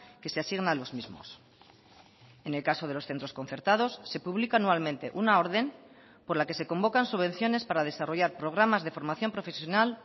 que se asigna a los mismos en el caso de los centros concertados se publica anualmente una orden por la que se convocan subvenciones para desarrollar programas de formación profesional